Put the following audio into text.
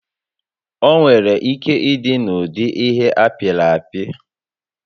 Onwere ike ịdị n'ụdị ihe apịrị apị